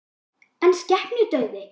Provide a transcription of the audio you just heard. En skepnudauði?